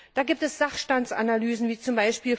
Da gibt es Sachstandsanalysen, wie